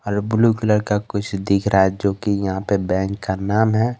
और blue colour का कुछ दिख रहा है जो कि यहां पे बैंक का नाम है।